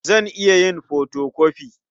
Zan iya yin fotokofi.